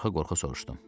Qorxa-qorxa soruşdum.